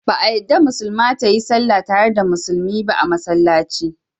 Ba a yadda Musulma ta yi sall tare da Musulmi a Massallaci ba.